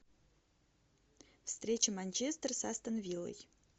встреча манчестер с астон виллой